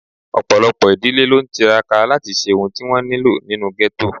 Ọ̀pọ̀lọpọ̀ ìdílé ló ń tiraka láti ṣe ohun tí wọ́n nílò nínú ghetto